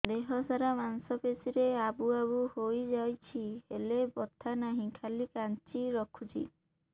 ଦେହ ସାରା ମାଂସ ପେଷି ରେ ଆବୁ ଆବୁ ହୋଇଯାଇଛି ହେଲେ ବଥା ନାହିଁ ଖାଲି କାଞ୍ଚି ରଖୁଛି